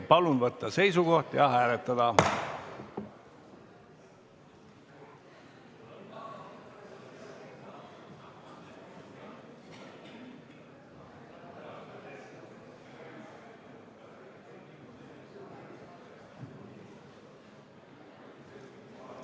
Palun võtta seisukoht ja hääletada!